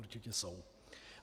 Určitě jsou.